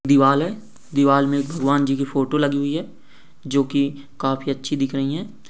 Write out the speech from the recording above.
दीवार है दीवार मे बगवानजी की फोटो लगी हुई है जो की काफी अछि दिख रही है ।